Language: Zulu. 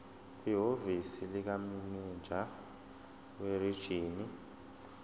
kwihhovisi likamininjela werijini